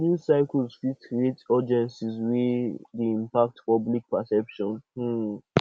news cycles fit create urgency wey dey impact public perception um